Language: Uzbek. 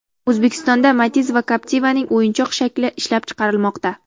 O‘zbekistonda Matiz va Captiva’ning o‘yinchoq shakli ishlab chiqarilmoqda.